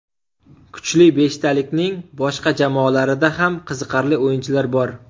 Kuchli beshtalikning boshqa jamoalarida ham qiziqarli o‘yinchilar bor.